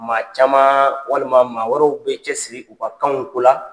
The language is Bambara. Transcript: Maa caman walima maa wɛrɛw bɛ cɛsiri u ka kanw ko la.